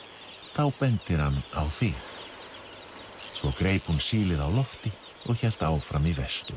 þá bendir hann á þig svo greip hún sílið á lofti og hélt áfram í vestur